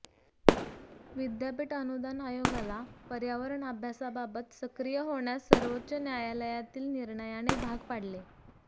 विद्यापीठ अनुदान आयोगाला पर्यावरण अभ्यासाबाबत सक्रीय होण्यास सर्वोच्च न्यायालयातील निणर्याने भाग पाडले